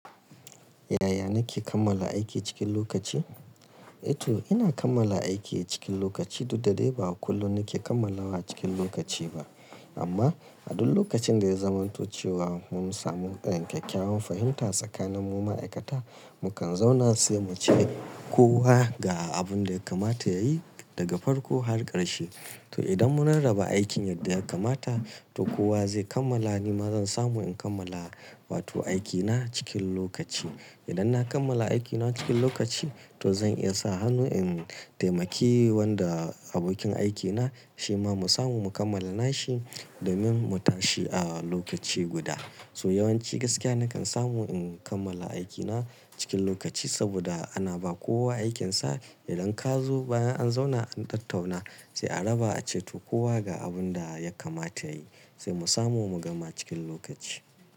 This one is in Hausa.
Yaya nike kammala aiki cikin lokaci? Ito ina kammala aiki cikin lokaci, dudda dai ba kullum nake kammalawa cikin lokaci ba. Amma a duk lokacin da ya zamanto chewa mun samu ɗan kyakkyawan fahimta tsakanin mu ma'aikata, mukan zauna sai muce kowa ga abun da ya kamata yayi daga farko har ƙarshe. To idan mun rarraba aikin yadda ya kamata, to kowa zai kammala, nima zan samu in kammala wato aikina cikin lokaci. Idan na kammala aikina cikin lokaci to zan iya sa hannu in taimaki wanda abokin aikina shima mu samu mu kammala nashi domin mu tashi a lokaci guda. So yawanci gaskiya nakan samu in kammala aikina cikin lokaci saboda ana ba kowa aikinsa. Idan ka zo bayan an zauna an tattauna sai a raba a ceto kowa ga abun da ya kamata yayi, sai mu samu mu gama cikin lokaci.